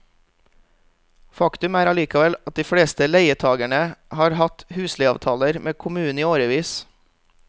Faktum er allikevel at de fleste leietagerne har hatt husleieavtaler med kommunen i årevis.